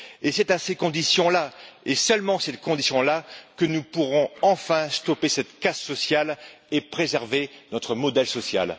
C'est à ces conditions là, et seulement ces conditions là, que nous pourrons enfin stopper cette casse sociale et préserver notre modèle social.